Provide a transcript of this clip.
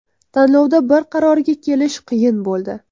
Tanlovda bir qarorga kelish qiyin bo‘ldi.